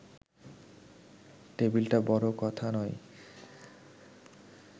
টেবিলটা বড় কথা নয়